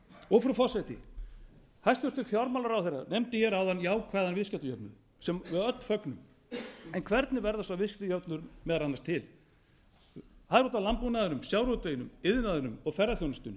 vera frú forseti hæstvirtur fjármálaráðherra nefndi hér áðan jákvæðan viðskiptajöfnuð sem við öll fögnum en hvernig verður sá viðskiptajöfnuður meðal annars til það er út af landbúnaðinum sjávarútveginum iðnaðinum og ferðaþjónustunni